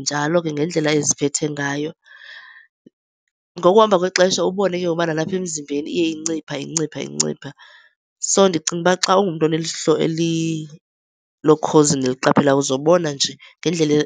njalo ke ngendlela eziphethe ngayo. Ngokuhamba kwexesha ubone ke ngoku ukuba nalapha emzimbeni iye incipha, incipha, incipha. So, ndicinga uba xa ungumntu oneliso lokhozi neliqaphelayo uzobona nje ngendlela